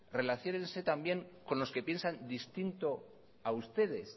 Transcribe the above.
relaciónense también con los que piensan distinto a ustedes